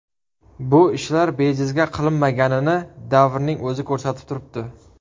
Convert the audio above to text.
Bu ishlar bejizga qilinmaganini davrning o‘zi ko‘rsatib turibdi.